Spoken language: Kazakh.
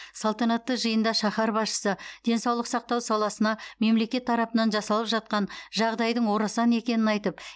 салтанатты жиында шаһар басшысы денсаулық сақтау саласына мемлекет тарапынан жасалып жатқан жағдайдың орасан екенін айтып